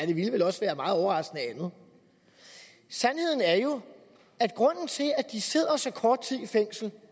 det ville vel også være meget overraskende andet sandheden er jo at grunden til at de sidder så kort tid i fængsel